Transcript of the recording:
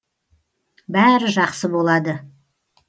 бәрі жақсы болады